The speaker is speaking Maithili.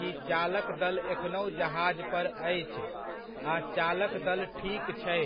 कि चालक दल एखनहुँ जहाज पर अछि आ चालक दल 'ठीक' छै।